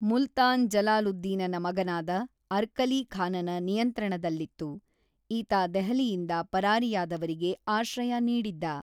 ಮುಲ್ತಾನ್ ಜಲಾಲುದ್ದೀನನ ಮಗನಾದ ಅರ್ಕಲೀ ಖಾನನ ನಿಯಂತ್ರಣದಲ್ಲಿತ್ತು, ಈತ ದೆಹಲಿಯಿಂದ ಪರಾರಿಯಾದವರಿಗೆ ಆಶ್ರಯ ನೀಡಿದ್ದ.